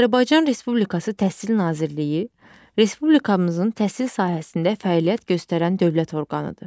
Azərbaycan Respublikası Təhsil Nazirliyi Respublikamızın təhsil sahəsində fəaliyyət göstərən dövlət orqanıdır.